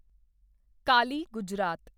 Kali Gujarat